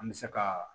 An bɛ se ka